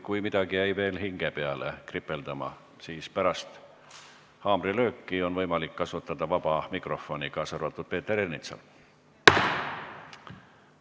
Kui midagi jäi veel hinge peale kripeldama, siis pärast haamrilööki on võimalik kasutada vaba mikrofoni, kaasa arvatud Peeter Ernitsal.